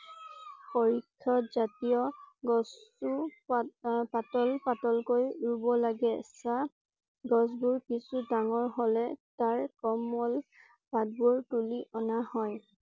পৰিষদ জাতীয় গছও পাত আহ পাতল পাতল কৈ ৰুব লাগে। চাহ গছ বোৰ কিছু ডাঙৰ হলে তাৰ কোমল পাত বোৰ তুলি অনা হয়